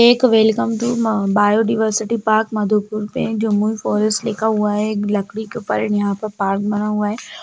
एक welcome to म biodiversity park Madhupur पे जमुई फॉरेस्ट लिखा हुआ है एक लकड़ी के ऊपर यहाँ पर एक पार्क बना हुआ है।